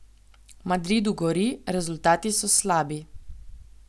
V Madridu gori, rezultati so slabi.